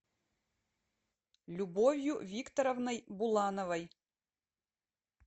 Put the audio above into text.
любовью викторовной булановой